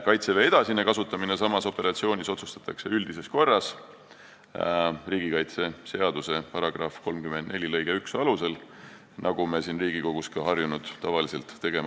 Kaitseväe edasine kasutamine samas operatsioonis otsustatakse üldises korras riigikaitseseaduse § 34 lõike 1 alusel, millega me siin Riigikogus ka harjunud oleme.